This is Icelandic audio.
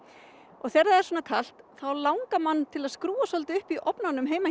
og þegar það er svona kalt þá langar mann til að skrúfa upp í ofnunum heima hjá